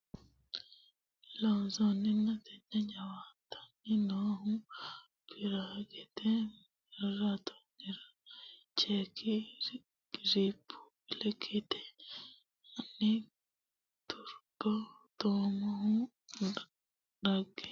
Loossinanni Tenne jawaantesinni noohu Piraagete maraatoonera Cheekki Rippuubilikete hanni Turbo Tummohu dhagge affinoonniri nooro rosiisaanchi heewisame umiha fuli Loossinanni Tenne.